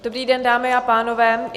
Dobrý den, dámy a pánové.